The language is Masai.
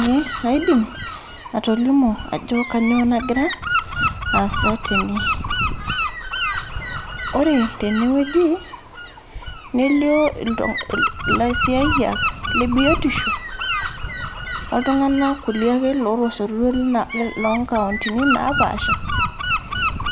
ee kaidim atolimu Ajo kainyio nagira asaa tene ore tene wueji nelio elaisiayiak lee biotisho okulie tung'ana ake loo nkaundini napashaa